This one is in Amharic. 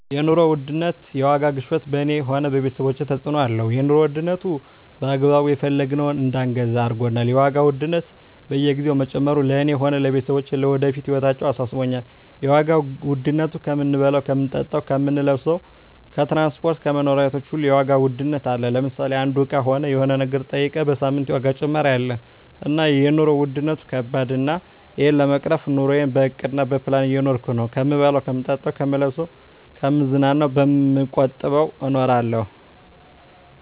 የኑሮ ውድነት የዋጋ ግሽበት በኔ ሆነ በቤተሰቦቻችን ተጽእኖ አለው የኑሮ ዉድነቱ በአግባቡ የፈለግነውን እዳንገዛ አርጎናል የዋጋ ውድነት በየግዜው መጨመሩ ለእኔ ሆነ ለቤተሰቦቸ ለወደፊት ህይወታችን አሳስቦኛል የዋጋ ዉድነቱ ከምንበላው ከምንጠጣው ከምንለብሰው ከትራንስፖርት ከመኖሪያ ቤቶች ሁሉ የዋጋ ውድነት አለ ለምሳሌ አንዱ እቃ ሆነ የሆነ ነገር ጠይቀ በሳምንት የዋጋ ጭማሪ አለ እና የኖሩ ዉድነት ከባድ ነው እና እሄን ለመቅረፍ ኑረየን በእቅድ በፕላን እየኖርኩ ነው ከምበላው ከምጠጣ ከምለብሰው ከምዝናናው በመቆጠብ እኖራለሁ